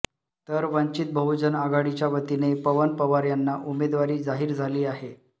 तर वंचीत बहुजन आघाडीच्या वतीने पवन पवार यांना उमेदवारी जाहीर झाली आहे